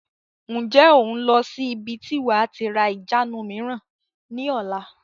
Ǹjẹ́ o n lọ sí ibi tí wàá tí ra ìjánu mìíràn ni ọ̀la?